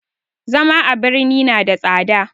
Zama a birni na da tsada